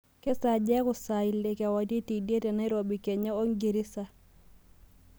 kesaaja eaku saa ile kewarie teidie tenairobi kenya ongirisa